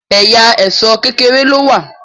ẹyà Èṣó kékeré ló wá